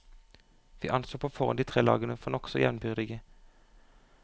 Vi anså på forhånd de tre lagene for nokså jevnbyrdige.